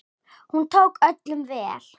Hún tók öllum vel.